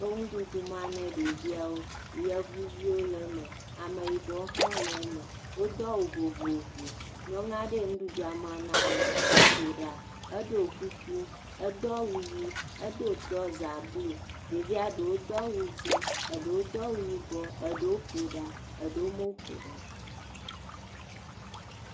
Wo nuɖuɖu mam ne ɖeviawo, yevuviwo le me, ameyibɔviwo hã wole me, wodo awu vovovo, nyɔnu aɖe le nua mam na wo, eƒo ɖa, eɖo kuku, edo awu ʋi, edo trɔza blu, ɖevia ɖewo do awu dzɛ̃, eɖewo do awu yibɔ, eɖewo ƒo ɖa, eɖewo meƒo ɖa o.